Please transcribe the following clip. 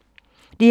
DR2